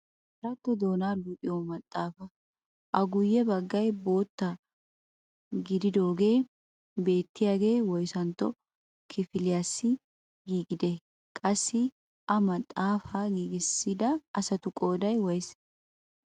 Amaaratto doonaa luxiyoo maxaafaa, a guyye baggay bootta gididoogee beettiyaagee woyssantto kifiliyaassi giigidee? Qassi ha maxaafakka giigissida asatu qooday woysse?